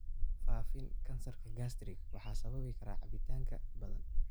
Faafin kansarka gastric waxaa sababi karaa cabitaanka badan?